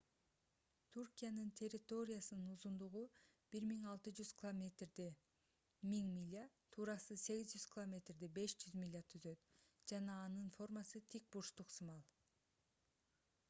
туркиянын территориясынын узундугу 1600 километрди 1000 миля туурасы 800 километрди 500 миля түзөт жана анын формасы тик бурчтук сымал